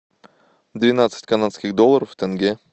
двенадцать канадских долларов в тенге